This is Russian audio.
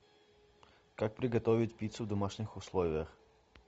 как приготовить пиццу в домашних условиях